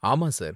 ஆமா, சார்.